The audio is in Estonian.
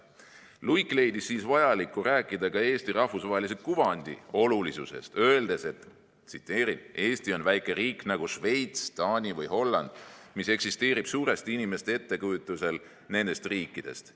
" Luik leidis siis vajaliku rääkida ka Eesti rahvusvahelise kuvandi olulisusest, öeldes: "Eesti on väike riik, nagu Šveits, Taani või Holland, mis eksisteerib suuresti inimeste ettekujutusel nendest riikidest.